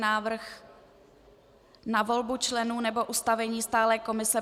Návrh na volbu členů nebo ustavení stálé komise